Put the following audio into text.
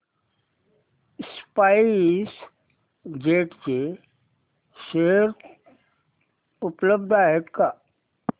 spice jet चे share उपलब्ध आहेत का